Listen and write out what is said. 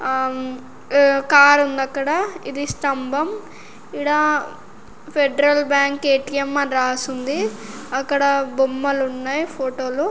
ఆమ్మ్ ఆ కార్ ఉందక్కడ .ఇది స్తంభం ఇడ ఫెడరల్ బ్యాంక్ ఎ_టి_ఎం అని రాసి ఉంది. అక్కడ బొమ్మలు ఉన్నాయి.ఫోటో లు--